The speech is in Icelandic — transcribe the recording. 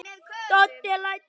Doddi lætur bombuna vaða.